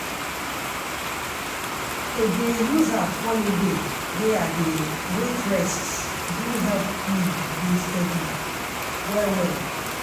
to dey use app follow dey way i dey wait rest do help me dey steady well well.